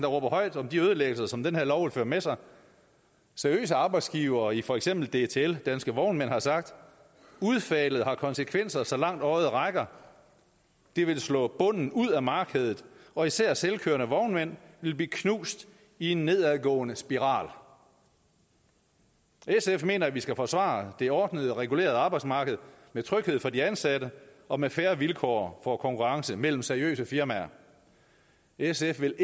råber højt om de ødelæggelser som den her lov vil føre med sig seriøse arbejdsgivere i for eksempel dtl danske vognmænd har sagt udfaldet har konsekvenser så langt øjet rækker det vil slå bunden ud af markedet og især selvkørende vognmænd vil blive knust i en nedadgående spiral sf mener at vi skal forsvare det ordnede og regulerede arbejdsmarked med tryghed for de ansatte og med fair vilkår for konkurrence mellem seriøse firmaer sf vil